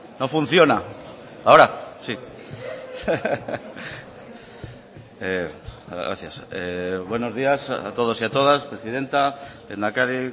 no funciona ahora sí gracias buenos días a todos y a todas presidenta lehendakari